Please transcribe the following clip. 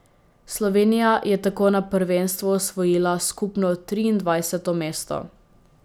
Slovenija je tako na prvenstvu osvojila skupno triindvajseto mesto.